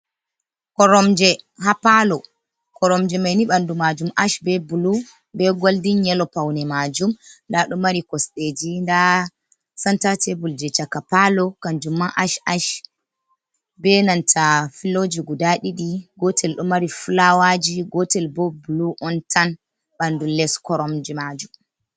Koromje ha palo. Koromje man ɓandu man ash be bulu be goldin yelo paune majum nda ɗo mari kosɗeji nda senta tebul ha chaka palo kanju man ash ash. Benanta filoji guda ɗiɗi, gotel man ɗo mari fulawaji, gotel man bo bulu on tan ɓandu les koromje majum.